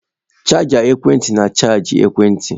Chaja ekwentị na-achaji ekwentị.